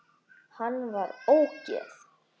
Hann var ógeð!